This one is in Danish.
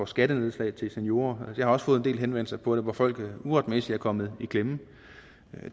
skattenedslag til seniorer jeg har også fået en hel del henvendelser på det hvor folk uretmæssigt er kommet i klemme